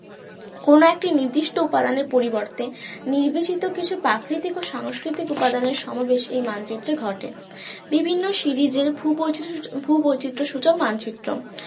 কোন একটি নির্দিষ্ট উপাদানের পরিবর্তে নির্বাচিত কিছু প্রাকৃতিক ও সংস্কৃতিক উপাদানের সমাবেশ এই মানচিত্রে ঘটে বিভিন্ন series এর ভূবৈচিত্রসূচক~ ভূবৈচিত্রসূচক মানচিত্র